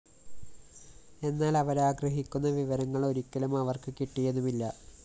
എന്നാല്‍ അവരാഗ്രഹിക്കുന്ന വിവരങ്ങള്‍ ഒരിക്കലും അവര്‍ക്ക് കിട്ടിയതുമില്ല